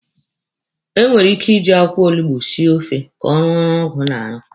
E nwere ike iji akwụkwọ olugbo esi ofe ka ọ rụọ ọrụ ọgwụ na-arụ.